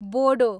Bodo